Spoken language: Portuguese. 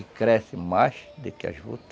E cresce mais do que a juta.